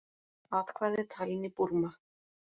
Atkvæði talin í Búrma